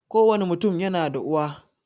Kowani mutum yana da uwa